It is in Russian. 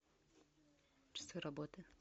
часы работы